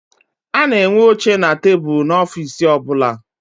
A na-enwe oche na tebulu n'ofiisi ọbụla.